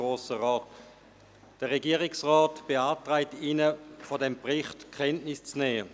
Der Regierungsrat beantragt Ihnen, von diesem Bericht Kenntnis zu nehmen.